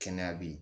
Kɛnɛya bɛ yen